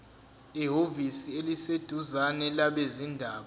ehhovisi eliseduzane labezindaba